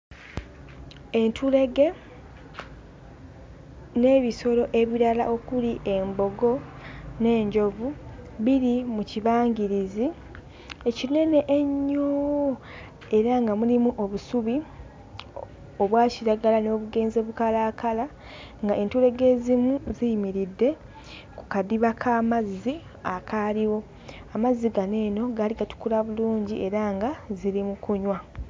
Entulege n'ebisolo ebirala okuli embogo n'enjovu biri mu kibangirizi ekinene ennyo era nga mulimu obusubi obwa kiragala n'obugenze bukalaakala nga entulege ezimu ziyimiridde ku kadiba k'amazzi akaaliwo amazzi gano eno gaali gatukula bulungi era nga ziri mu kunywa.